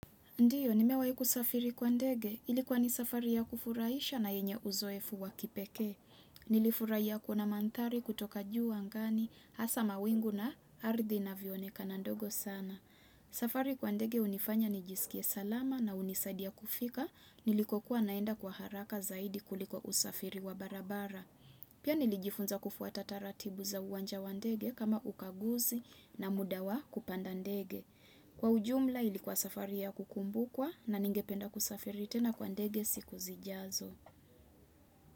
Ndiyo, nimewa ku kusafiri kwa ndege, ilikuwa ni safari ya kufurahisha na yenye uzoefu wakipeke. Nilifurai ya kuna mantari kutoka juu angani, hasa mawingu na ardhi na viooneka na ndogo sana. Safari kwa ndege unifanya nijisikie salama na unisadia kufika, nilikuwa naenda kwa haraka zaidi kuliko usafiri wa barabara. Pia nilijifunza kufuata tataratibu za uwanja wa ndege kama ukaguzi na mudawa kupanda ndege. Kwa ujumla ilikuwa safari ya kukumbu kwa na ningependa kusafiri tena kwa ndege siku zijazo.